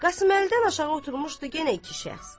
Qasımlıdan aşağı oturmuşdu yenə iki şəxs.